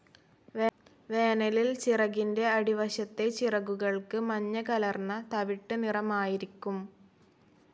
വേനലിൽ ചിറകിൻ്റെ അടിവശത്തെ ചിറകുകൾക്ക് മഞ്ഞകലർന്ന തവിട്ട് നിറമായിരിക്കും.